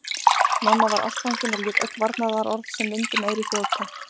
Mamma var ástfangin og lét öll varnaðarorð sem vind um eyru þjóta.